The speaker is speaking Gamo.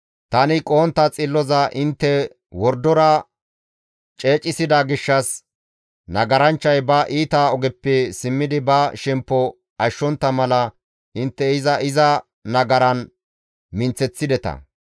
Tani qohontta xilloza intte wordora ceecissida gishshas, nagaranchchay ba iita ogeppe simmidi ba shemppo ashshontta mala intte iza iza nagaran minththeththideta.